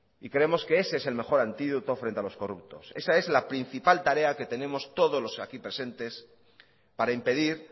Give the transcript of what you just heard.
y queremos que ese es el mejor antídoto frente a los corruptos esa es la principal tarea que tenemos todos los aquí presentes para impedir